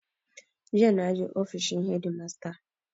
Jiya na je ofishin hedimasta.